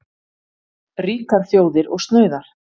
Ríkar þjóðir og snauðar.